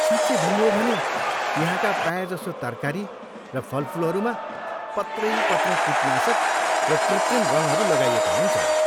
साँच्चै भन्नु हो भने, यहाँका प्रायजसो तरकारी र फलफुलहरूमा पत्रैपत्र कीटनाशक र कृत्रिम रङहरू लगाइएका हुन्छन्।